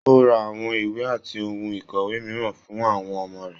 O ra àwọn ìwé àti ohùn ikọwe mìíràn fún àwọn ọmọ rẹ.